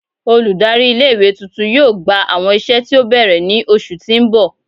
Oludari ile iwe tuntun yoo gba awọn iṣẹ ti o bẹrẹ ni oṣu ti n bọ